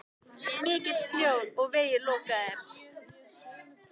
Mikill snjór og vegir lokaðir.